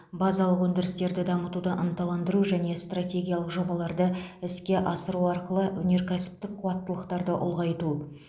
базалық өндірістерді дамытуды ынталандыру және стратегиялық жобаларды іске асыру арқылы өнеркәсіптік қуаттылықтарды ұлғайту